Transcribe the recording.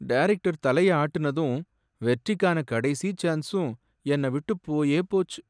Director தலையை ஆட்டுனதும் வெற்றிக்கான கடைசி சான்ஸும் என்ன விட்டு போயே போச்சு.